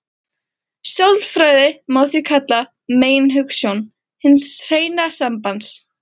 Sjálfræði má því kalla meginhugsjón hins hreina sambands.